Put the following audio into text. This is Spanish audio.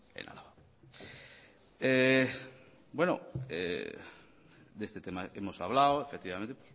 en álava de este tema hemos hablado efectivamente